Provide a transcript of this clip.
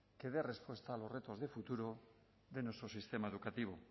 que dé respuesta a los retos de futuro de nuestro sistema educativo